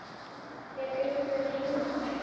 Er einhver heima hér?